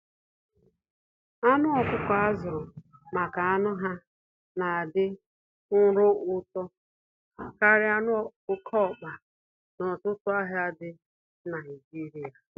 Anụ ọkụkọ azụrụ maka anụ ha na adị nro n'ụtọ karịa anụ oke ọkpa na ọtụtụ ahịa dị Naijiria.